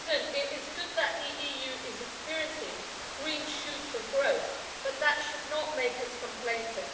It is good that the EU is experiencing green shoots of growth, but that should not make us complacent.